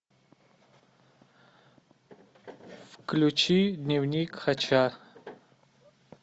включи дневник хача